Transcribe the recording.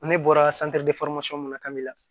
Ne bɔra mun na kabila